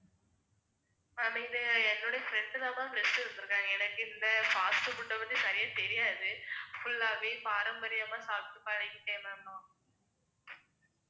ma'am இது என்னுடைய friend தான் ma'am list எடுத்திருக்காங்க. எனக்கு இந்த fast food அ பத்தி சரியா தெரியாது. full ஆவே பாரம்பரியமா சாப்பிட்டு பழகிட்டேன் ma'am நான்